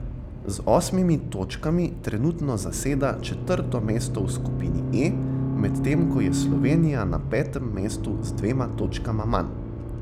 Z osmimi točkami trenutno zaseda četrto mesto v skupini E, medtem ko je Slovenija na petem mestu z dvema točkama manj.